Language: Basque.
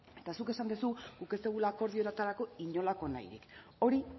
eta zuk esan duzu guk ez dugula akordioetarako inolako nahi hori